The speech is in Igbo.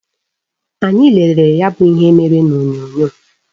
Anyị lelere ya bụ ihe mere n'onyonyo